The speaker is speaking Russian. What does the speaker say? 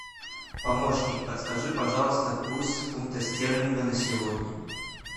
помощник подскажи пожалуйста курс фунта стерлинга на сегодня